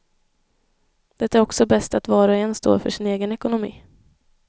Det är också bäst att var och en står för sin egen ekonomi.